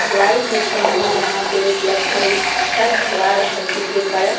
ढलाई मशीन भी यहाँ पे उपलब्ध हेय इ छत ढला रहल हेय जे कारण --